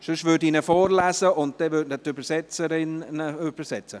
– Dann lese ich ihn vor, während ihn die Übersetzerin simultan übersetzt.